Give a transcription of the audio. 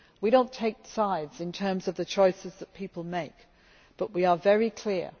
We do not take sides in terms of the choices that people make, but we are very clear.